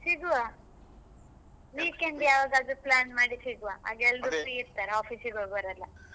ಸಿಗ್ವಾ weekend ಯಾವಾಗಾದ್ರೂ plan ಮಾಡಿ ಸಿಗ್ವಾ ಆಗ ಎಲ್ಲರೂ free ಇರ್ತಾರೆ office ಗೆ ಹೋಗುವವರೆಲ್ಲ.